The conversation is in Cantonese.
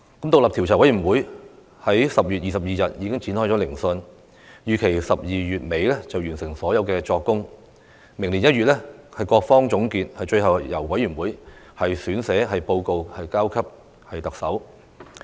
獨立調查委員會已於10月22日展開聆訊，預期在12月底完成所有作供，各方預料在明年1月作總結，最後由調查委員會撰寫報告提交特首。